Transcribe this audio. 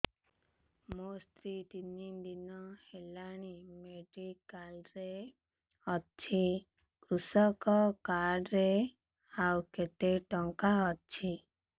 ମୋ ସ୍ତ୍ରୀ ତିନି ଦିନ ହେଲାଣି ମେଡିକାଲ ରେ ଅଛି କୃଷକ କାର୍ଡ ରେ ଆଉ କେତେ ଟଙ୍କା ଅଛି